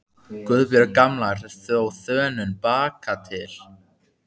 Guðbjörg gamla er á þönum bakatil.